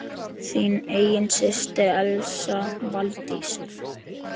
Þín systir, Elsa Valdís.